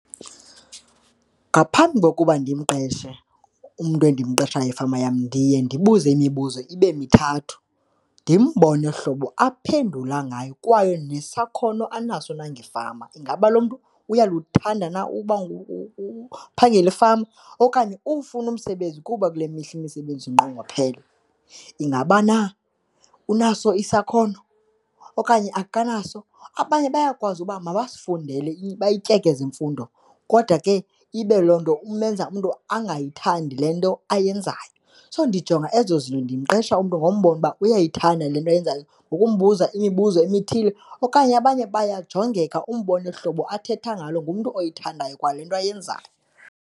Ngaphambi kokuba ndimqeshe umntu endimqashayo efama yam ndiye ndibuze imibuzo ibe mithathu ndimbone ohlobo aphendula ngayo kwaye nesakhono anaso na ngefama. Ingaba lo mntu uyalithanda na uba ukuphangela efama? Okanye ufuna umsebenzi kuba kule mihla imisebenzi zinqongophele? Ingaba na unaso isakhono okanye akanaso? Abanye bayakwazi uba mabasifundele, bayityekeze imfundo kodwa ke ibe loo nto umenza umntu abangayithandi le nto ayenzayo. So, ndijonga ezo zinto, ndimqesha umntu ngombona uba uyayithanda le nto ayenzayo ngokumbuza imibuzo emithile okanye abanye bayajongeka umbone uhlobo athetha ngalo, ngumntu oyithandayo kwale nto ayenzayo.